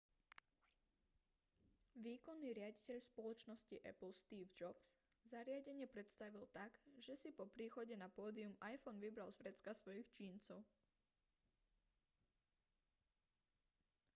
výkonný riaditeľ spoločnosti apple steve jobs zariadenie predstavil tak že si po príchode na pódium iphone vybral z vrecka svojich džínsov